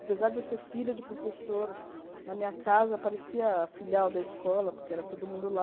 Apesar de eu ser filha de professor, na minha casa aparecia a filial da escola, porque era todo mundo lá.